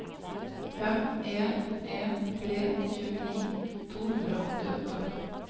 fem en en tre tjueni to hundre og åttiåtte